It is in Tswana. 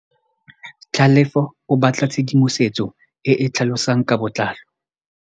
Tlhalefô o batla tshedimosetsô e e tlhalosang ka botlalô.